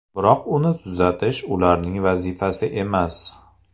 Biroq uni tuzatish ularning vazifasi emas.